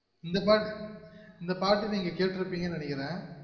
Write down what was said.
இந்தபாட் இந்தபாட்ட நீங்க கெட்ற்றுப்பிங்கனு நெனைக்குறென்.